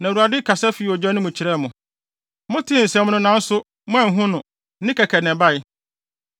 Na Awurade kasa fii ogya no mu kyerɛɛ mo. Motee nsɛm no nanso, moanhu no, nne kɛkɛ na ɛbae.